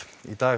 í dag